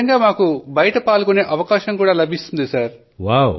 తద్ద్వారా మాకు బయట పాల్గొనే అవకాశం లభిస్తుంది సర్